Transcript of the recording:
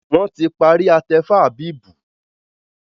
wón tí parí atefa Habib